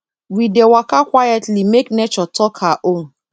we dey waka quietly make nature talk her own